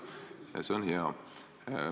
Ja see on hea.